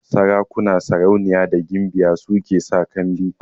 Sarakuna, sarauniya da gimbiyoyi su ke sa kambi